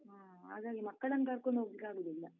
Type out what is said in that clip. ಹಾ, ಹಾಗಾಗಿ ಮಕ್ಕಳನ್ನ್ ಕರ್ಕೋಂಡ್ ಹೋಗ್ಲಿಕ್ಕಾಗುದಿಲ್ಲ.